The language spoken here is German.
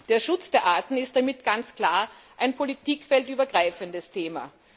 Der Schutz der Arten ist damit ganz klar ein politikfeldübergreifendes Thema.